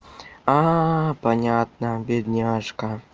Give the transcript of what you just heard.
понятно бедняжка